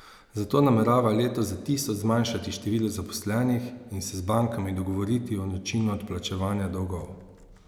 Zato nameravajo letos za tisoč zmanjšati število zaposlenih in se z bankami dogovoriti o načinu odplačevanja dolgov.